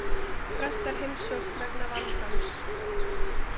Frestar heimsókn vegna vandans